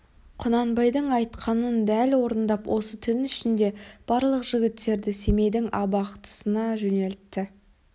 құнанбайдың айтқанын дәл орындап осы түн ішінде барлық жігіттерді семейдің абақтысына жөнелтті